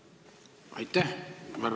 Aitäh!